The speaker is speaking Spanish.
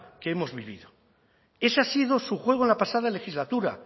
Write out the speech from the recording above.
que hemos vivido ese ha sido su juego en la pasada legislatura